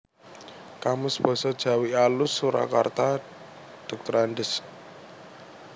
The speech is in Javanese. Kamus Basa Jawi Alus Surakarta Drs